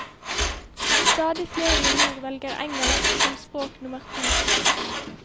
Stadig flere i nord velger engelsk som språk nummer to.